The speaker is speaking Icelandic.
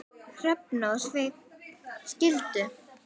Hrefna og Sveinn skildu.